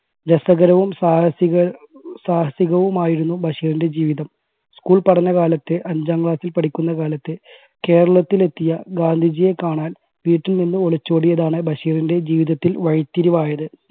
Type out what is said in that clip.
രസകരവും സാഹസിക സാഹസികവുമായിരുന്നു ബഷീറിൻറെ ജീവിതം school പഠനകാലത്ത് അഞ്ചാം class ൽ പഠിക്കുന്ന കാലത്ത് കേരളത്തിൽ എത്തിയ ഗാന്ധിജിയെ കാണാൻ വീട്ടിൽ നിന്ന് ഒളിച്ചോടിയതാണ് ബഷീറിൻറെ ജീവിതത്തിൽ വഴിത്തിരിവായത്.